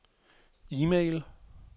e-mail